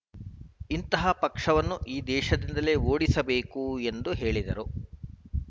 ಇಂತಹ ಪಕ್ಷವನ್ನು ಈ ದೇಶದಿಂದಲೆ ಓಡಿಸಬೇಕು ಎಂದು ಹೇಳಿದರು